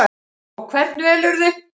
Og hvern velurðu?